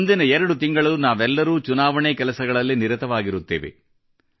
ಮುಂದಿನ 2ತಿಂಗಳು ನಾವೆಲ್ಲರೂ ಚುನಾವಣೆ ಕೆಲಸಗಳಲ್ಲಿ ನಿರತವಾಗಿರುತ್ತೇವೆ